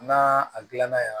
N'a a gilanna yan